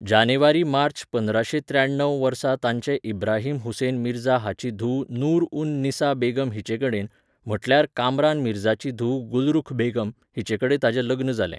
जानेवारीमार्च पंदराशें त्र्याण्णव वर्सा ताचें इब्राहिम हुसेन मिर्झा हाची धूव नूर उन निसा बेगम हिचेकडेन, म्हटल्यार कामरान मिर्झाची धूव गुलरुख बेगम, हिचेकडेन ताचें लग्न जालें.